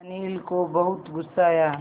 अनिल को बहुत गु़स्सा आया